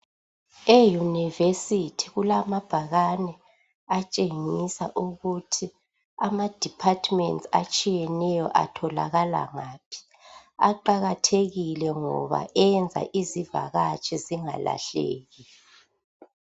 Euniversity kulamabhakane atshengisa ukuthi ama departments atshiyeneyo atholakala ngaphi aqakathekile ngoba enza izivakatshi zingalahleki.